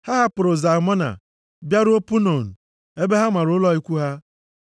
Ha hapụrụ Zalmona bịaruo Punon ebe ha mara ụlọ ikwu ha.